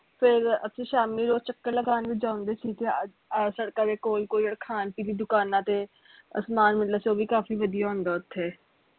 ਫਿਰ ਅਸੀਂ ਸ਼ਾਮੀ ਰੋਜ਼ ਚੱਕਰ ਲਗਾਨ ਵੀ ਜਾਂਦੇ ਸੀ ਆਹ ਅਹ ਸੜਕਾਂ ਦੇ ਕੋਲ ਕੋਲ ਖਾਣ ਪੀਣ ਦੀ ਦੁਕਾਨਾਂ ਤੇ ਅਸੀਂ ਨਾਲ ਚ ਵੀ ਕਾਫੀ ਵਧਿਆ ਹੁੰਦਾ ਓਥੇ